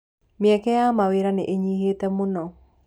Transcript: Mĩeke ya mawĩra nĩnyihĩte mũno.